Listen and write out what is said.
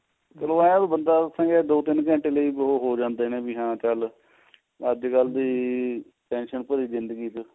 ਉਹਨੂੰ ਇਹ ਵੀ ਜੇ ਬੰਦਾ ਦੱਸਾਂਗੇ ਦੋ ਤਿੰਨ ਘੰਟੇ ਲਈ ਉਹ ਹੋ ਜਾਂਦੇ ਨੇ ਵੀ ਹਾਂ ਚੱਲ ਅੱਜ ਕਲ ਦੇ tension ਭਰੀ ਜਿੰਦਗੀ ਚ